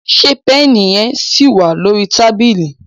ṣe Pẹ́ẹ̀nì yen sí wá lórí tábìlì?